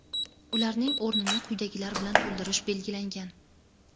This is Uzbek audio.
Ularning o‘rnini quyidagilar bilan to‘ldirish belgilangan.